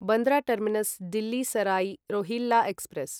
Bandra terminus Delhi Sarai Rohilla express